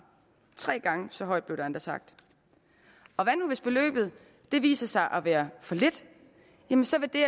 tre gange så højt blev der endda sagt og hvad nu hvis beløbet viser sig at være for lidt jamen så vil det